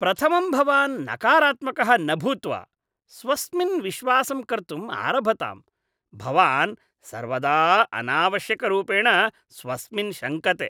प्रथमं भवान् नकारात्मकः न भूत्वा स्वस्मिन् विश्वासं कर्तुम् आरभताम्। भवान् सर्वदा अनावश्यकरूपेण स्वस्मिन् शङ्कते।